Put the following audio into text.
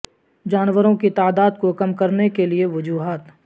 جانوروں کی تعداد کو کم کرنے کے لئے وجوہات